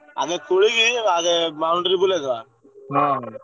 ଆଗେ ଖୋଳିକି boundary ବୁଲେଇଦେବା।